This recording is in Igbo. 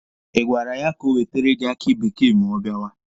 Ị gwara ya ka o wetere gị aki bekee ma ọ bịawa?